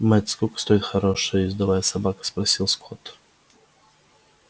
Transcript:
мэтт сколько стоит хорошая ездовая собака спросил скотт